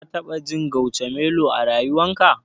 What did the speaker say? Ka taɓa jin Guacamelo a rayuwarka?